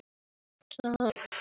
Nú er spilið tapað.